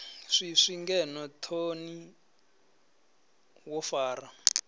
swiswi ngeno thoni wo fara